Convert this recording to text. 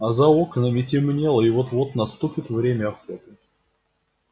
а за окнами темнело и вот-вот наступит время охоты